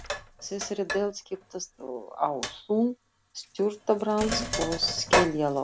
Í þessari deild skiptast á þunn surtarbrands- og skeljalög.